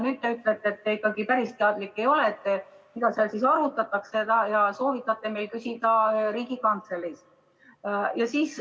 Nüüd te ütlete, et te ikkagi päris teadlik ei ole, mida seal arutatakse, ja soovitate meil küsida Riigikantseleist.